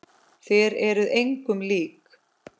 Þér eruð engum lík!